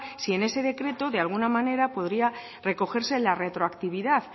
si en ese decreto de alguna manera podría recogerse la retroactividad